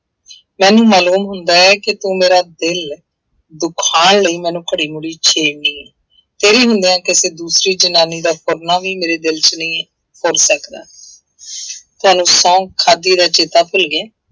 ਮੈਨੂੰ ਮਾਲੂਮ ਹੁੰਦਾ ਹੈ ਕਿ ਤੂੰ ਮੇਰਾ ਦਿਲ ਦੁਖਾਉਣ ਲਈ ਮੈਨੂੰ ਘੜੀ ਮੁੜੀ ਛੇੜਦੀ ਹੈ ਤੇਰੇ ਬਿਨਾਂ ਕਿਸੇ ਦੂਸਰੀ ਜ਼ਨਾਨੀ ਦਾ ਫੁਰਨਾ ਵੀ ਮੇਰੇ ਦਿਲ ਚ ਨਹੀਂ ਫੁਰ ਸਕਦਾ ਤੁਹਾਨੂੰ ਸਹੁੰ ਖਾਧੀ ਦਾ ਚੇਤਾ ਭੁੱਲ ਗਿਆ।